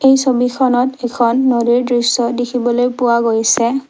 এই ছবিখনত এখন নদীৰ দৃশ্য দেখিবলৈ পোৱা গৈছে।